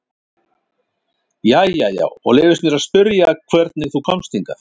Jæja já, og leyfist mér að spyrja hvernig þú komst hingað?